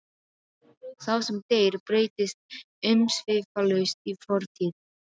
Sá sem deyr breytist umsvifalaust í fortíð.